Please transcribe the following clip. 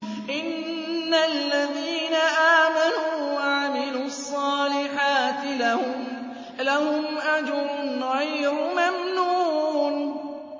إِنَّ الَّذِينَ آمَنُوا وَعَمِلُوا الصَّالِحَاتِ لَهُمْ أَجْرٌ غَيْرُ مَمْنُونٍ